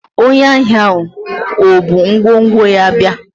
onye ahia ahu o bu ngwongwo ya bia?